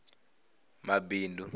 mabindu